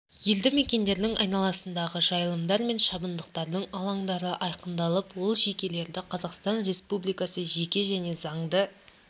елді мекендердің айналасындағы жайылымдар мен шабындықтардың алаңдары айқындалып ол жекелерді қазақстан республикасы жеке және заңды